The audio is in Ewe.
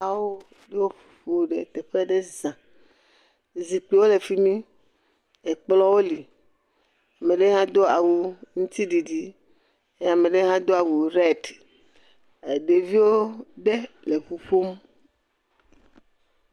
Ame aɖewo ƒoƒu ɖe teƒe aɖe za. Zikpuiwo le fi mi. Ekplɔwo li. Ame aɖe hã do awu ŋtiɖiɖi eye ame aɖe hado awu redi. Ɖeviwo ɖe ƒuƒom.